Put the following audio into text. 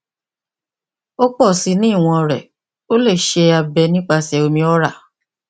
o pọ si ni iwọn rẹ o le ṣe abẹ nipasẹ omi oral